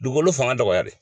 Dugukolo fanga dɔgɔyalen.